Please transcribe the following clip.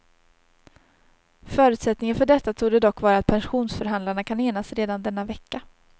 Förutsättningen för detta torde dock vara att pensionsförhandlarna kan enas redan denna vecka.